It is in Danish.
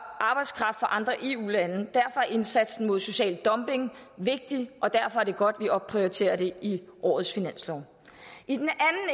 andre eu lande er indsatsen mod social dumping vigtig og derfor er det godt vi opprioriterer det i årets finanslov i den